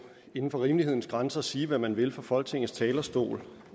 inden for rimelighedens grænser sige hvad man vil fra folketingets talerstol